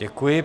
Děkuji.